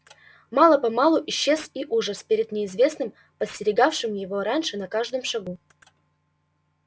мало помалу исчез и ужас перед неизвестным подстерегавшим его раньше на каждом шагу